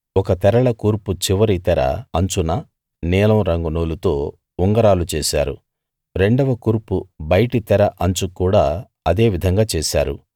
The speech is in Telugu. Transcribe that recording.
ఒక తెరల కూర్పు చివరి తెర అంచున నీలం రంగు నూలుతో ఉంగరాలు చేశారు రెండవ కూర్పు బయటి తెర అంచుకు కూడా అదే విధంగా చేశారు